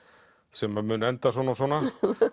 sem mun enda svona svona